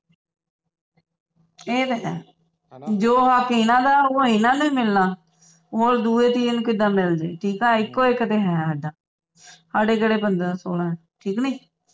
ਏ ਤਾ ਹੈ ਜੋ ਹੱਕ ਇੰਨਾ ਦਾ ਉਹ ਇੰਨਾ ਨੂੰ ਮਿਲਣਾ ਹੋਰ ਦੂਏ ਤੀਏ ਨੂੰ ਕਿੱਦਾਂ ਮਿਲਜੇ ਠੀਕ ਹੈ ਇਕੋ ਇਕ ਤਾਂ ਹੈ ਸਾਡਾ ਸਾਡੇ ਕਿਹੜਾ ਪੰਦਰਾਂ ਸੋਲਾਂ ਹੈ ਠੀਕ ਨੀ